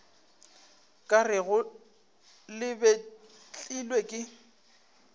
ka rego le betlilwe ke